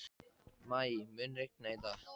Maj, mun rigna í dag?